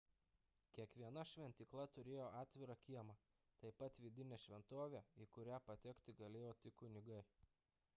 kiekviena šventykla turėjo atvirą kiemą taip pat vidinę šventovę į kurią patekti galėjo tik kunigai